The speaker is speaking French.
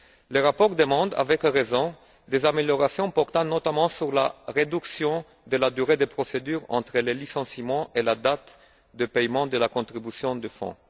Le rapport demande, avec raison, des améliorations portant notamment sur la réduction du délai entre les licenciements et la date de paiement de la contribution du fonds.